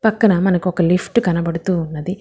పక్కన మనకు ఒక లిఫ్ట్ కనబడుతూ ఉన్నది.